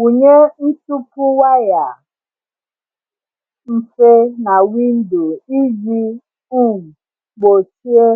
Wụnye ntupu waya mfe na windo iji um gbochie